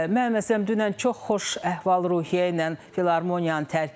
Mən məsələn dünən çox xoş əhval-ruhiyyə ilə Filarmoniyanı tərk etdim.